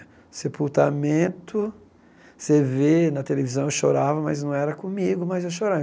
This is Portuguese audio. O sepultamento, você vê na televisão, eu chorava, mas não era comigo, mas eu chorava.